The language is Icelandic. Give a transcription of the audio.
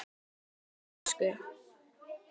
Hún datt úr tísku.